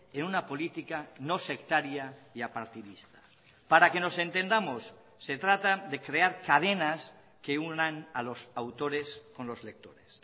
en una política no sectaria y apartidista para que nos entendamos se trata de crear cadenas que unan a los autores con los lectores